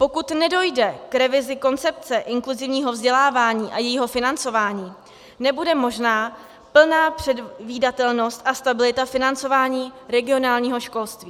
Pokud nedojde k revizi koncepce inkluzivního vzdělávání a jejího financování, nebude možná plná předvídatelnost a stabilita financování regionálního školství.